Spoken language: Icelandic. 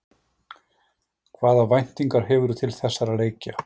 Hvaða væntingar hefurðu til þessara leikja?